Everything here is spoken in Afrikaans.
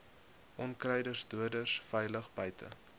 onkruiddoders veilig buite